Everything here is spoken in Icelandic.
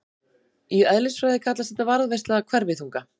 Í eðlisfræði kallast þetta varðveisla hverfiþunga.